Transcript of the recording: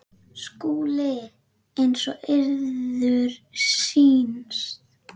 SKÚLI: Eins og yður sýnist.